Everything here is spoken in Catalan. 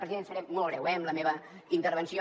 president seré molt breu eh amb la meva intervenció